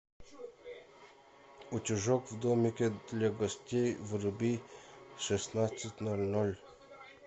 утюжок в домике для гостей вруби в шестнадцать ноль ноль